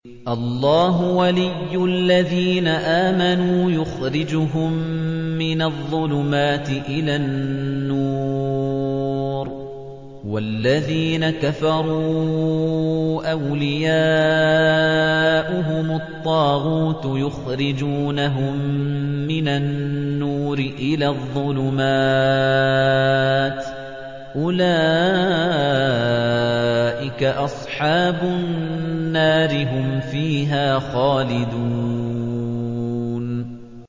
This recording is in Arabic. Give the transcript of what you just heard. اللَّهُ وَلِيُّ الَّذِينَ آمَنُوا يُخْرِجُهُم مِّنَ الظُّلُمَاتِ إِلَى النُّورِ ۖ وَالَّذِينَ كَفَرُوا أَوْلِيَاؤُهُمُ الطَّاغُوتُ يُخْرِجُونَهُم مِّنَ النُّورِ إِلَى الظُّلُمَاتِ ۗ أُولَٰئِكَ أَصْحَابُ النَّارِ ۖ هُمْ فِيهَا خَالِدُونَ